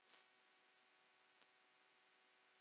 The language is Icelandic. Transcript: Bíddu bíddu ha?